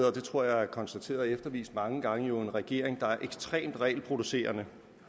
og det tror jeg er konstateret og eftervist mange gange med en regering der er ekstremt regelproducerende